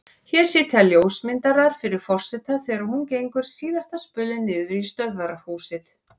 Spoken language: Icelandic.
Hér sitja ljósmyndarar fyrir forseta þegar hún gengur síðasta spölinn niður í stöðvarhús.